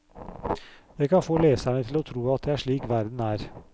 Det kan få leserne til å tro at det er slik verden er.